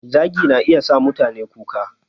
Zagi na iya sa mutane kuka